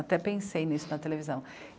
Até pensei nisso na televisão.